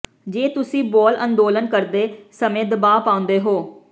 ਜੇ ਤੁਸੀਂ ਬੋਅਲ ਅੰਦੋਲਨ ਕਰਦੇ ਸਮੇਂ ਦਬਾਅ ਪਾਉਂਦੇ ਹੋ